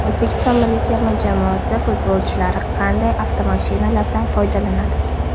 O‘zbekiston milliy terma jamoasi futbolchilari qanday avtomashinalardan foydalanadi?